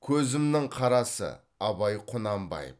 көзімнің қарасы абай құнанбаев